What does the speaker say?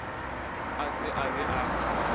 a se a be a